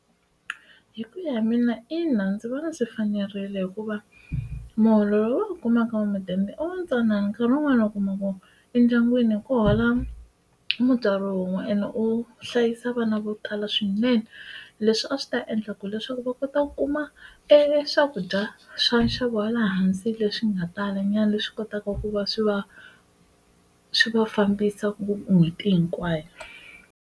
Hi ku ya hi mina ina ndzi vona swi fanerile hikuva muholo lowu va wu kumaka ya mudende o ntsanana nkarhi wun'wana u kuma vo endyangwini hi ku hola mutswari wun'we ene u hlayisa vana vo tala la swinene leswi a swi ta endla ku leswaku va kota ku kuma e swakudya swa nxavo wa le hansi leswi nga tala nyana leswi kotaka ku va swi va swi va fambisa n'hweti hinkwayo.